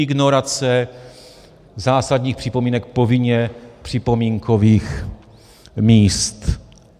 Ignorace zásadních připomínek povinně připomínkových míst.